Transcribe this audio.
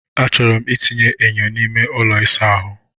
Achọrọ m itinye enyo n'ime ụlọ ịsa ahụ.